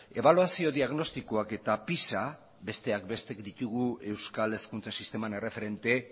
ebaluazio diagnostikoak eta pisa besteak beste ditugu euskal hezkuntza sisteman erreferente